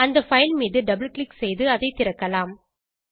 அந்த பைல் மீது double click செய்து அதை திறக்கலாம்